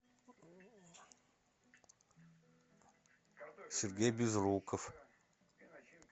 сергей безруков